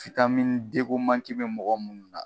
den ko be mɔgɔ munnu na.